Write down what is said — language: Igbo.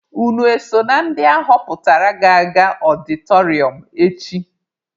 Unu eso na ndị ahọpụtara ga-aga ọdịtọrịọm echi?